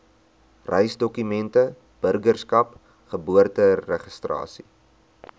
reisdokumente burgerskap geboorteregistrasie